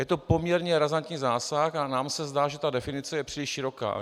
Je to poměrně razantní zásah a nám se zdá, že ta definice je příliš široká.